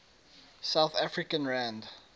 south african rand